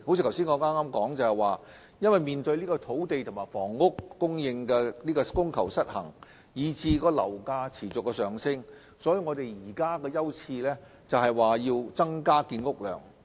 正如我剛才所說，面對土地及房屋供求失衡以至樓價持續上升，政府當前的優次是增加建屋量。